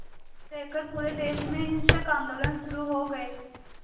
लेकर पूरे देश में हिंसक आंदोलन शुरू हो गए